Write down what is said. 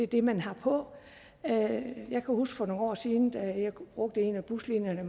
det man har på jeg kan huske for nogle år siden da jeg brugte en af buslinjerne